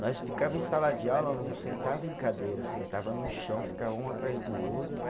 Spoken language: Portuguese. Nós ficava em sala de aula, não sentava em cadeira, sentava no chão, ficava um atrás do outro.